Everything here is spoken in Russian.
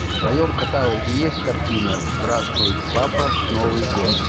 в твоем каталоге есть картина здравствуй папа новый год